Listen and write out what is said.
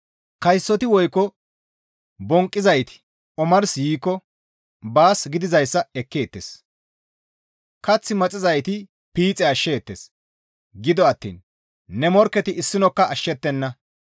«Kaysoti woykko bonqqizayti omars yiikko baas gidizayssa ekkeettes; Kath maxizayti piixe ashsheettes; gido attiin ne morkketi issinokka ashshettenna.